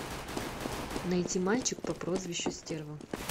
найти мальчик по прозвищу стерва